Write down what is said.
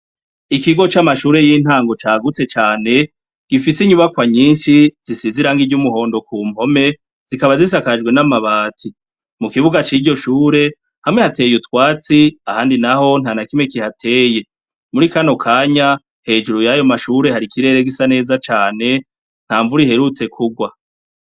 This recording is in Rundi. Ikigo c'amashure y'intango cagutse cane, gifise inyubakwa nyinshi zisize irangi ry'umuhondo ku mpome, zikaba zisakajwe n'amabati, mu kibuga ciryo shure hamwe hateye utwatsi, ahandi naho ntanakimwe kihateye, muri kano kanya hejuru yayo mashure hari ikirere gisa neza cane, nta mvura iherutse kurwa.